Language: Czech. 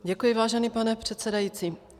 Děkuji, vážený pane předsedající.